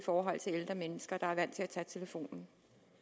for ældre mennesker der er vant til at tage telefonen